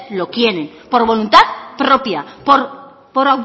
lo quieren por voluntad propia